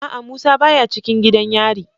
A'a musa baya cikin gidan yari.